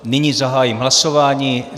Nyní zahájím hlasování.